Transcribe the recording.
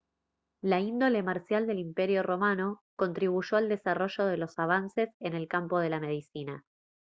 la índole marcial del imperio romano contribuyó al desarrollo de los avances en el campo de la medicina